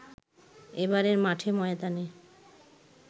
এবারের মাঠে ময়দানে